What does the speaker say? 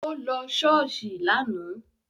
Ó lọ ṣọ́ọ̀ṣì lánàá